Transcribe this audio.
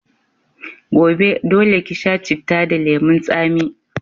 Gobe, dole ki sha citta da lemun tsami.